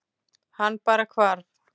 Hann bara hvarf.